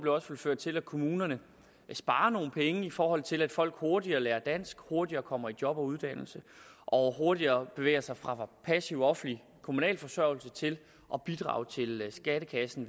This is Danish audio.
også vil føre til at kommunerne sparer nogle penge i forhold til at folk hurtigere lærer dansk hurtigere kommer i job og uddannelse og hurtigere bevæger sig fra passiv offentlig kommunal forsørgelse til at bidrage til skattekassen